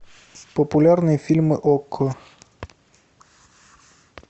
популярные фильмы окко